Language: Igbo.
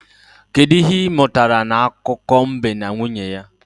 Kedụ ihe ị mụtara n'akụkọ mbe na nwunye ya?